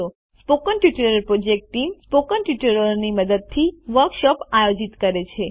spoken tutorial project team spoken ટ્યુટોરીયલોની મદદથી workshop આયોજિત કરે છે